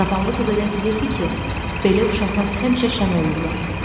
Zavallı qız elə bilirdi ki, belə uşaqlar həmişə şən olurlar.